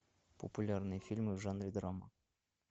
популярные фильмы в жанре драма